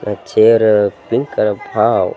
ಅ ಚೇರ ಪಾವ್ .